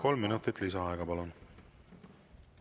Kolm minutit lisaaega, palun!